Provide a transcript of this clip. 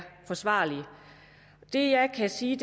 forsvarlige det jeg kan sige